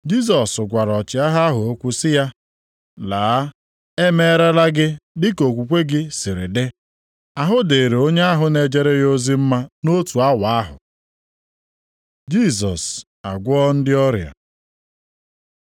Jisọs gwara ọchịagha ahụ okwu sị ya, “Laa! E meerela gị dị ka okwukwe gị sịrị dị.” Ahụ dịrị onye ahụ na-ejere ya ozi mma nʼotu awa ahụ. Jisọs agwọọ ndị ọrịa